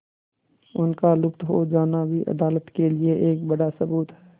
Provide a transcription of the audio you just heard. उनका लुप्त हो जाना भी अदालत के लिए एक बड़ा सबूत है